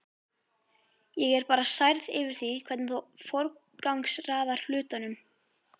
Ég er bara særð yfir því hvernig þú forgangsraðar hlutunum.